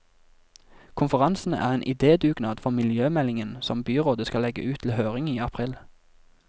Konferansen er en idédugnad for miljømeldingen som byrådet skal legge ut til høring i april.